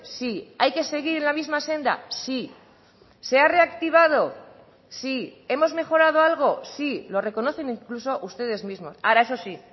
sí hay que seguir en la misma senda sí se ha reactivado sí hemos mejorado algo sí lo reconocen incluso ustedes mismos ahora eso sí